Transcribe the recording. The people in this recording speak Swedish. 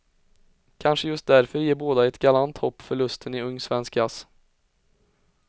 Kanske just därför ger båda ett galant hopp för lusten i ung svensk jazz.